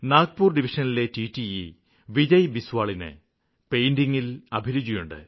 നാഗ്പൂര് ഡിവിഷനിലെ ടിടിഇ വിജയ് ബിസ്വാലിന് പെയിന്റിംഗില് അഭിരുചിയുണ്ട്